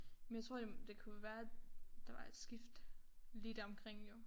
Men jeg tror det det kunne være der var et skift lige deromkring jo